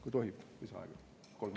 Kas tohib lisaaega paluda?